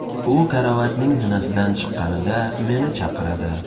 U karavotning zinasidan chiqqanida meni chaqiradi.